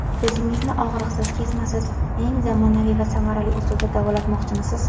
Ko‘zingizni og‘riqsiz, kesmasiz, eng zamonaviy va samarali usulda davolatmoqchimisiz?